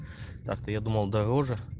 так-то я думал дороже